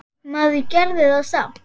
Maður gerði það samt.